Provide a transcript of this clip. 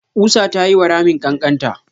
ƙusar ta yiwa ramin ƙanƙanta.